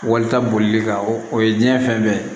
Walita bolili kan o ye diɲɛ fɛn bɛɛ ye